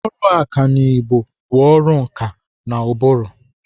Ọrụ ọkanibo bụ ọrụ nkà na ụbụrụ.